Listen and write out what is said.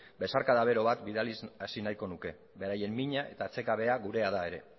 besarkada bero bat bidaliz hasi nahiko nuke beraien mina eta atsekabea gurea da ere